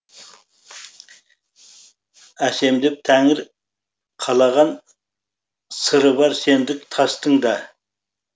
әсемдеп тәңір қалаған сыры бар сендік тастың да